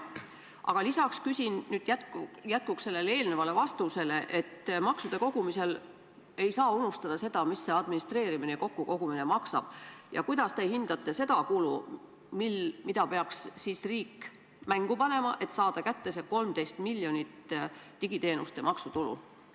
Aga ma küsin nüüd jätkuks teie märkusele, et maksude kogumisel ei tohi unustada seda, mis see administreerimine ja kokkukogumine maksab: kui suur võiks teie hinnangul olla summa, mille peaks riik mängu panema, et 13 miljonit digiteenuste maksuraha kätte saada?